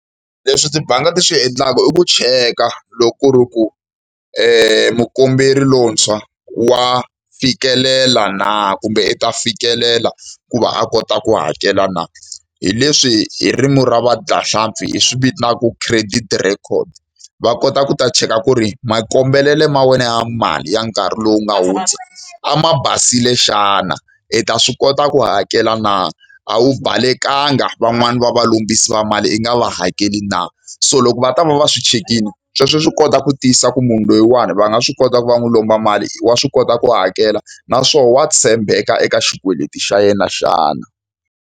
Leswi tibanga ti swi endlaka i ku cheka loko ku ri ku mukomberi lontshwa wa fikelela na kumbe i ta fikelela ku va a kota ku hakela na. Hi leswi hi ririmi ra vadyahlampfi hi swi vitanaka credit record. Va kota ku ta cheka ku ri makombelele ma wena ya mali ya nkarhi lowu nga hundza a ma basile xana? I ta swi kota ku hakela na? A wu balekanga van'wani va valombisi va mali i nga va hakeli na? So loko va ta va va swi chekile, sweswo swi kota ku tiyisisa ku munhu loyiwani va nga swi kota ku va n'wi lomba mali, wa swi kota ku hakela naswona wa tshembeka eka xikweleti xa yena xana.